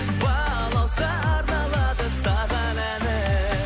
балауса арналады саған әнім